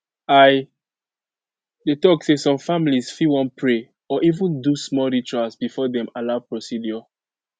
i dey talk say some families fit wan pray or even do small rituals before dem allow procedure